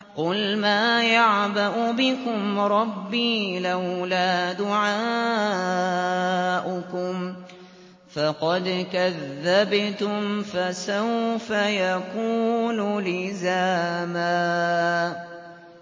قُلْ مَا يَعْبَأُ بِكُمْ رَبِّي لَوْلَا دُعَاؤُكُمْ ۖ فَقَدْ كَذَّبْتُمْ فَسَوْفَ يَكُونُ لِزَامًا